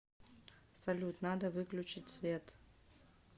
салют надо выключить свет